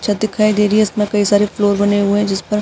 छत दिखाई दे रही है इसमें कई सारे फ्लोर्स बने हुए है इस पर --